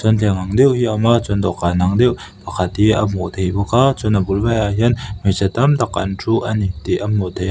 thleng ang deuh hi a awm a chuan dawhkan ang deuh pakhat hi a hmuh theih bawk a chuan a bul velah hian hmeichhe tam tak an thu a ni tih a hmuh theih a.